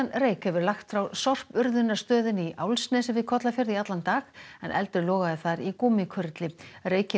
reyk hefur lagt frá í Álfsnesi við Kollafjörð í allan dag en eldur logaði þar í gúmmíkurli reykinn